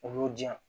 U y'u diyan